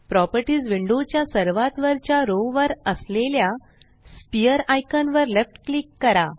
properties window च्या सर्वात वरच्या रो वर असलेल्या स्फिअर आयकॉन वर लेफ्ट क्लिक करा